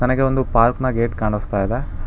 ನನಗೆ ಒಂದು ಪಾರ್ಕ್ ನ ಗೇಟ್ ಕಾಣಸ್ತಾ ಇದೆ.